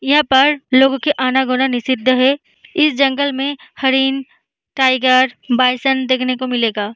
यहाँ पर आना जाना लोग निषेध है इस जंगल में हरिण टाइगर बायसन्स देखने को मिलेगा।